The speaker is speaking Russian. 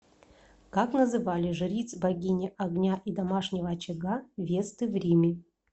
как называли жриц богини огня и домашнего очага весты в риме